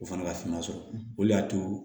O fana ka fina sɔrɔ o le y'a to